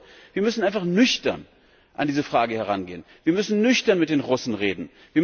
Das bedeutet, wir müssen einfach nüchtern an diese Frage herangehen, wir müssen nüchtern mit den Russen reden.